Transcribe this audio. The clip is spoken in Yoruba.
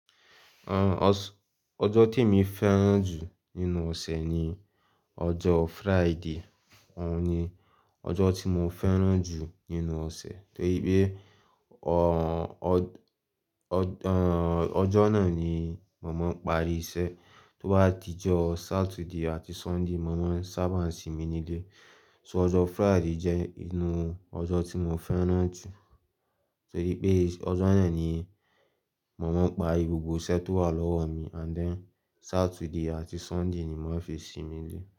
Ọjọ́ tí mo fẹ́ràn jù nínú ọ̀sẹ̀ ni ọjọ́ Friday. Òun ni ọjọ́ tí mo fẹ́ràn jù nínú ọ̀sẹ̀ torí pé, ọ́, ọ́, ọ̀, ọjọ́ náà ni màmá ń parí iṣẹ́. Tó bá di ọjọ́ Saturday àti Sunday, màmá ń sábà sinmi nílé. So ọjọ́ Friday jẹ́ inú ọjọ́ tí mo fẹ́ràn jù torí pé ọjọ́ náà ni màmá ń pa gbogbo iṣẹ́ tó wà lọ́wọ́ mi and then Saturday àti Sunday ni mò ń fi sinmi nílé.